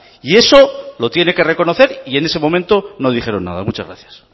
y eso lo tiene que reconocer y en ese momento no dijeron nada muchas gracias